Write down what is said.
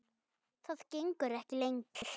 Það gengur ekki lengur.